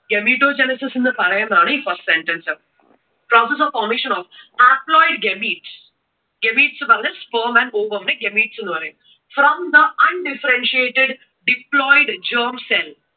gametogenesis എന്നു പറയുക എന്നാണ് ഇപ്പോ process of formation of haploid gametes, gametes എന്ന് പറഞ്ഞാൽ sperm and ovum നെ gametes എന്ന് പറയും. From the undifferentiated diploid germ cell